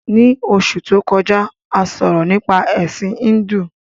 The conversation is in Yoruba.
Ní Osù to kọjá, a sọ̀rọ̀ nípa Ẹ̀sin Híndù